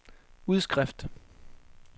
udskrift